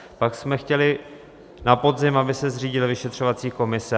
Pak jsme chtěli na podzim, aby se zřídila vyšetřovací komise.